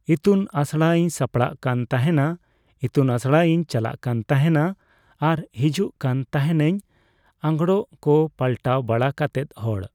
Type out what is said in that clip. ᱤᱛᱩᱱ ᱟᱥᱲᱟ ᱤᱧ ᱥᱟᱯᱲᱟᱜ ᱠᱟᱱ ᱛᱟᱦᱮᱸᱱᱟ, ᱤᱛᱩᱱ ᱟᱥᱲᱟ ᱤᱧ ᱪᱟᱞᱟᱜ ᱠᱟᱱ ᱛᱟᱦᱮᱱᱟ ᱾ᱟᱨ ᱦᱤᱡᱩᱜ ᱠᱟᱱ ᱛᱟᱦᱮᱱᱟᱹᱧ, ᱟᱸᱜᱽᱨᱚᱵ ᱠᱚ ᱯᱟᱞᱴᱟᱣ ᱵᱟᱲᱟ ᱠᱟᱛᱮᱫ ᱦᱚᱲ